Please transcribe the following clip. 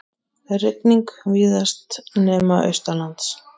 Rigning víðast nema norðaustanlands